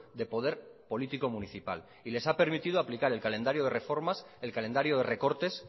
de poder político municipal y les ha permitido aplicar el calendario de reformas el calendario de recortes